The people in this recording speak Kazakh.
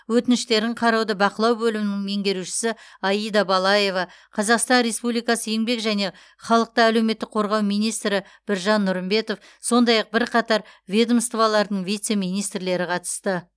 өтініштерін қарауды бақылау бөлімінің меңгерушісі аида балаева қазақстан республикасы еңбек және халықты әлеуметтік қорғау министрі біржан нұрымбетов сондай ақ бірқатар ведомстволардың вице министрлері қатысты